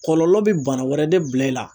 Kɔlɔlɔ bi bana wɛrɛ de bila i la.